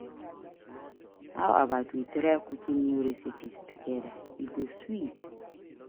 How about we try cooking new recipes together? E go sweet.